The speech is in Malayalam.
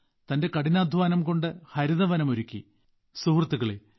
തന്റെ കഠിനാധ്വാനംകൊണ്ട് ഹരിതവനം ഒരുക്കി സുഹൃത്തുക്കളെ